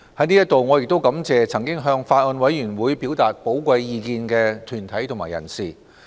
在此，我亦感謝曾經向法案委員會表達寶貴意見的團體及人士。